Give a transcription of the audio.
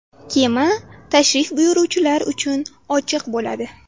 Kema tashrif buyuruvchilar uchun ochiq bo‘ladi.